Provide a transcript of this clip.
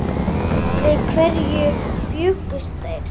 Við hverju bjuggust þeir?